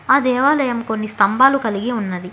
ఆ దేవాలయం కొన్ని స్తంబాలు కలిగి ఉన్నది.